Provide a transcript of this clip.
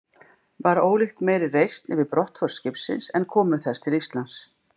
Var ólíkt meiri reisn yfir brottför skipsins en komu þess til Íslands.